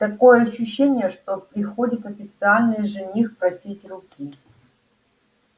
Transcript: такое ощущение что приходит официальный жених просить руки